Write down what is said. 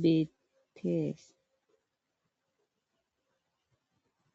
beetees.